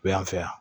Yan fɛ yan